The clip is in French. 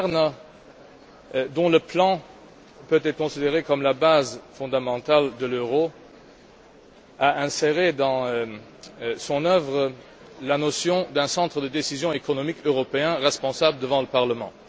Pierre Werner, dont le plan peut être considéré comme la base fondamentale de l'euro, a inséré dans son œuvre la notion d'un centre de décision économique européen responsable devant le Parlement.